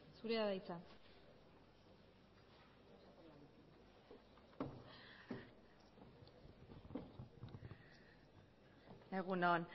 zurea da hitza egun on